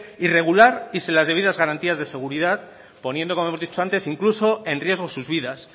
irregular y sin las debidas garantías de seguridad poniendo como hemos dicho antes incluso en riesgo sus vidas